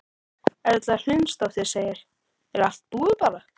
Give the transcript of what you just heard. Erla Hlynsdóttir: Er allt búið bara?